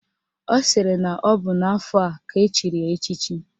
Ọ sịrị na ọ bụ n'afọ a ka echiri ya echichi